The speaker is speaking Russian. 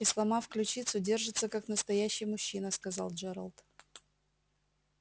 и сломав ключицу держится как настоящий мужчина сказал джералд